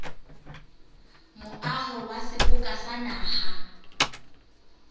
moaho wa seboka sa naha